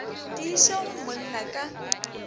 di iše go monna ka